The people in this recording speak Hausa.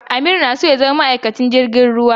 Amir na so ya zama maikacin jirgin ruwa idan ya girma.